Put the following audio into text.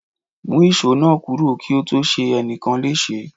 Mú ìṣó náà kúrò kí ó tó ṣe ẹnìkan léṣe.